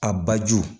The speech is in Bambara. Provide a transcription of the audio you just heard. A baju